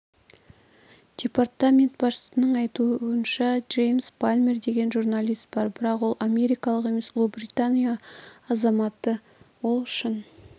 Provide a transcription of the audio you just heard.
департамент басшысының айтуынша джеймс палмер деген журналист бар бірақ ол америкалық емес ұлыбритания азаматы ол шын